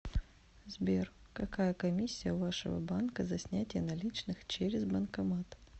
сбер какая комиссия у вашего банка за снятие наличных через банкомат